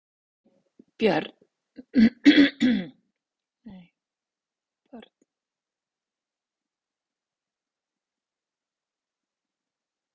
Nei Börn: Nei Hvað eldaðir þú síðast?